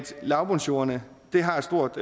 lavbundsjordene har et stort